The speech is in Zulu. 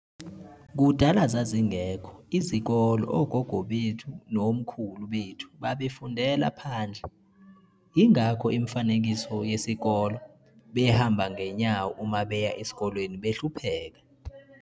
Kudala zazingekho izokolo ogogo bethu nomkhulu bethu babefundela phandle, ingekho imifanekiso yesikolo, behamba ngenyawo uma beya eskolweni behlupheka.